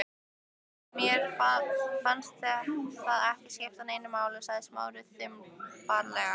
Mér fannst það ekki skipta neinu sagði Smári þumbaralega.